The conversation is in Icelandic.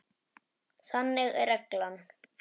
Þannig er reglan.